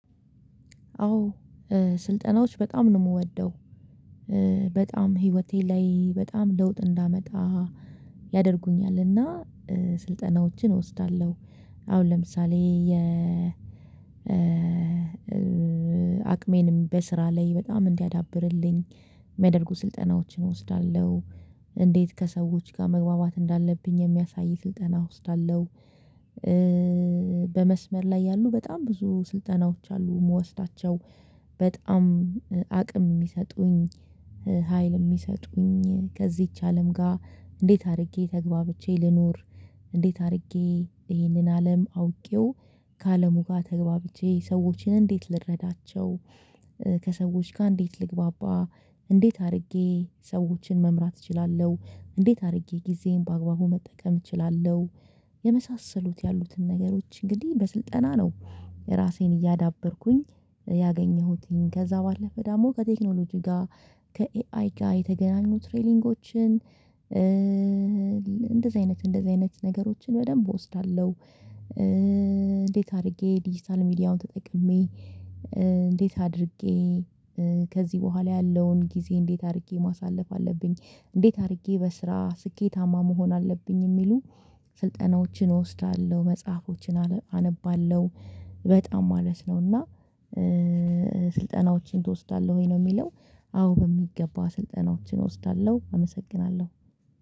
አዎ ስልጠናዎች በጣም ነው የምወደው። በጣም ህይወቴ ላይ በጣም ለውጥ እንዳመጣ ያደርጉኛል እና ስልጠናዎችን እወስዳለሁ። አሁን ለምሳሌ የ አቅሜንም በስራ ላይ በጣም እንዲያዳብርልኝ የሚያደርጉ ስልጠናዎችን እወስዳለሁ። እንዴት ከሰዎች ጋር መግባባት እንዳለብኝ የሚያሳይ ስልጠና እወስዳለው። በመስመር ላይ ያሉ በጣም ብዙ ስልጠናዎች አሉ የምወስዳቸው በጣም አቅም የሚሰጡኝ ሀይል የሚሰጡኝ ከዚች አለም ጋር እንዴት አድርጌ ተግባብቼ ልኑር። እንዴት አድርጌ ይህንን አለም አውቄው ከአለሙ ጋር ተግባብቼ ሰዎችን እንዴት ልረዳቸው። ከሰዎች ጋር እንዴት ልግባባ። እንዴት አድርጌ ሰዎችን መምራት እችላለሁ እንዴት አድርጌ ጊዜን በአግባቡ መጠቀም እችላለሁ። የመሳሰሉት ያሉትን ነገሮች እንግዲህ በስልጠና ነው ራሴን እያዳበርኩኝ። ከዛ ባለፈ ደግሞ ከቴክኖሎጂ ጋር ከኤአይ ጋር የተገናኙ ትሬኒጎችን እንደዚህ አይነት እንደዚህ አይነት ነገሮችን በደንብ እወስዳለሁ። እንዴት አድርጌ ዲጂታል ሚዲያውን ተጠቅሜ እንዴት አድርጌ ከዚህ በኋላ ያለውን ጊዜ እንዴት አድርጌ ማሳለፍ አለብኝ። እንዴት አድርጌ በስራ ስኬታማ መሆን አለብኝ የሚሉ ስልጠናዎችን እወስዳለሁ መጽሐፎችን አነባለሁ። በጣም ማለት ነው እና ስልጠናዎችን ትወስዳለህ ወይ ነው የሚለው? አዎ በሚገባ ስልጠናዎችን እወስዳለሁ። አመሰግናለሁ